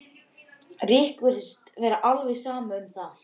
Rikku virtist vera alveg sama um það.